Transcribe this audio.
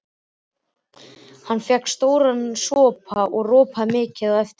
Hann fékk sér stóran sopa og ropaði mikið á eftir.